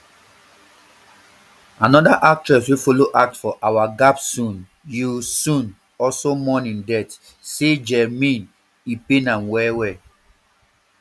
anoda actress wey follow act for our gap soon yoo sun also mourn im death say jaerim e pain me well well